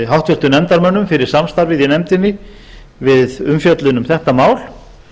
háttvirtum nefndarmönnum fyrir samstarfið í nefndinni við umfjöllun um þetta mál